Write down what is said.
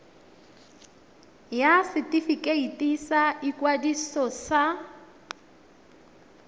ya setefikeiti sa ikwadiso ya